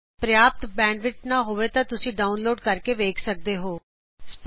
ਜੇ ਤੁਹਾਡੇ ਕੋਲ ਪ੍ਰਯਾਪਤ ਬੈਨਡਵਿੜਥ ਨਹੀ ਹੈ ਤਾਂ ਇਸ ਨੂੰ ਡਾਉਨਲੋਡ ਕਰਕੇ ਵੇਖ ਸਕਦੇ ਹੋਂ